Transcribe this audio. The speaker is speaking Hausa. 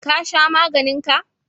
Ka sha maganin ka?